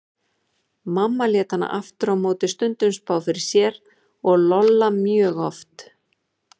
Mamma lét hana aftur á móti stundum spá fyrir sér og Lolla mjög oft.